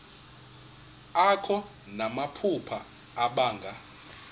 akho namaphupha abanga